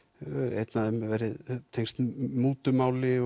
einn af þeim tengst mútu máli